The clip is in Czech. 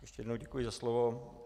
Ještě jednou děkuji za slovo.